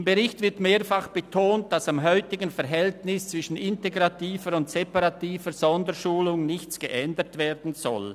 Im Bericht wird mehrfach betont, dass am heutigen Verhältnis zwischen integrativer und separativer Sonderschulung nichts geändert werden soll.